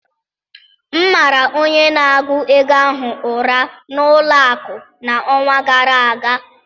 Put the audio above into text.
M mara onye na-agụ ego ahụ ụra n'ụlọ akụ n'ọnwa gara aga